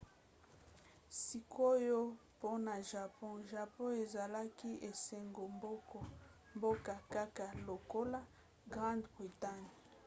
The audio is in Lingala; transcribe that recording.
sikoyo mpona japon. japon ezalaki esanga-mboka kaka lokola grande bretagne